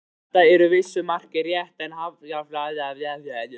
Þetta er að vissu marki rétt en jafnframt misvísandi einföldun.